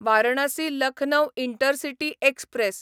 Varanasi Lucknow intercity express